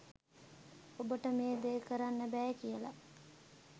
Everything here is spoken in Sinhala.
ඔබට මේ ‍දේ කරන්න බෑ කියලා